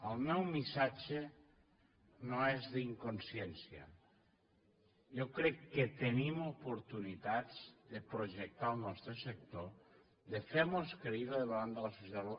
el meu missatge no és d’inconsciència jo crec que tenim oportunitats de projectar el nostre sector de fer nos creïbles davant de la societat